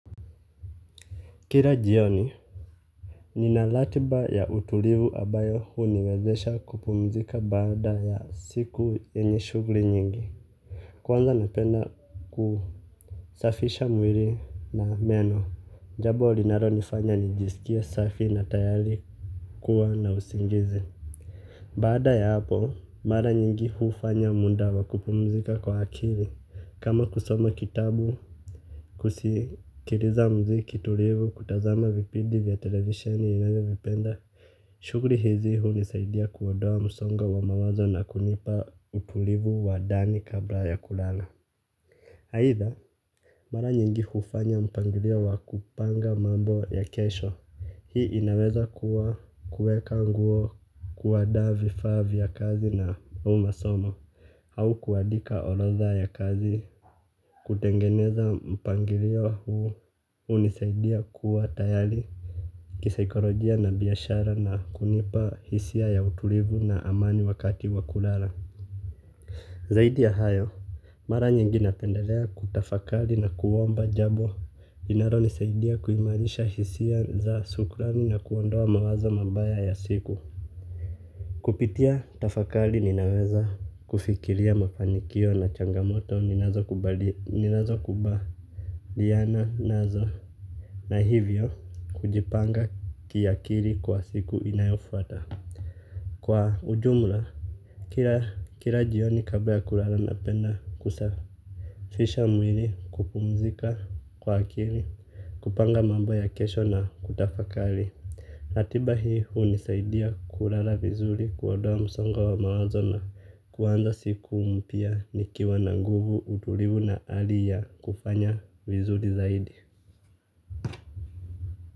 Kira jioni, ninalatiba ya utulivu abayo huu niwezesha kupumzika baada ya siku yenye shugli nyingi. Kwanza napenda kusafisha mwiri na meno, jabo linaro nifanya nijisikie safi na tayari kuwa na usingizi. Bada ya hapo, mara nyingi hufanya munda wakupumzika kwa akili. Kama kusoma kitabu, kusikiriza mziki tulivu, kutazama vipidi vya televisheni ninavyovipenda, shuguri hizi hu nisaidia kuodoa musonga wa mawazo na kunipa utulivu wa dani kabla ya kulala. Haitha, mara nyingi hufanya mpangirio wa kupanga mambo ya kesho. Hii inaweza kuwa kueka nguo kuwadaa vifaa vya kazi na umasomo au kuadika orodha ya kazi. Kutengeneza mpangirio huu unisaidia kuwa tayali kisaikolojia na biyashara na kunipa hisia ya utulivu na amani wakati wakulala. Zaidi ya hayo, mara nyingi napendelea kutafakali na kuomba jabo inaro nisaidia kuimanisha hisia za sukulami na kuondoa mawazo mabaya ya siku. Kupitia tafakali ninaweza kufikilia mapanikio na changamoto ninazo kuba liana nazo na hivyo kujipanga kiakili kwa siku inayofuata. Kwa ujumla, kila jioni kabla ya kurala na penda kusafisha mwili kupumzika kwa akili. Kupanga mambo ya kesho na kutafakali. Latiba hii huu nisaidia kurala vizuri kuodoa msongo wa mawazona kuwanza siku mpia nikiwa na nguvu utulivu na hali ya kufanya vizuri zaidi.